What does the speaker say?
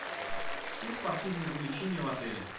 все спортивные развлечения в отеле